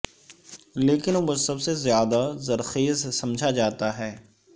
لیکن وہ سب سے زیادہ زرخیز سمجھا جاتا ہے